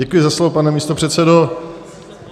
Děkuji za slovo, pane místopředsedo.